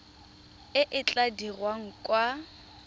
e e tla dirwang kwa